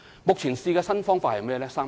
目前試用的新方法是甚麼？